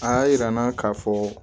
A y'a yira n na k'a fɔ